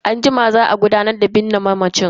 Anjima za a gudanar da bikin binne mamacin.